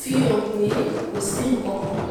fi hàn pé kó sì nkankan